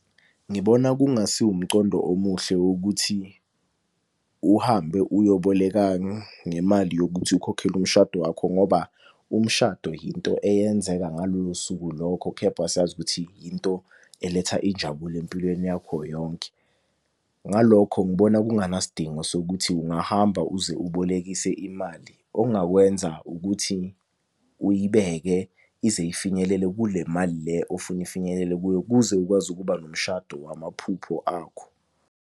Ngibona kungasi wumcondo omuhle wokuthi uhambe uyoboleka ngemali yokuthi ukhokhele umshado wakho, ngoba umshado yinto eyenzeka ngalolo suku lokho, kepha siyazi ukuthi into eletha injabulo empilweni yakho yonke. Ngalokho ngibona kunganasidingo sokuthi ungahamba uze ubolekise imali, ongakwenza ukuthi uyibeke ize ifinyelele kule mali le ofuna ifinyelele kuyo kuze ukwazi ukuba nomshado wamaphupho akho.